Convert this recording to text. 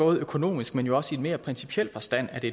økonomisk men også i en mere principiel forstand er det